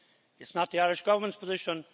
It's not the Irish Government's position.